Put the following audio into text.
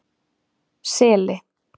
Seli